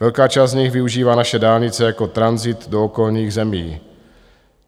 Velká část z nich využívá naše dálnice jako tranzit do okolních zemí.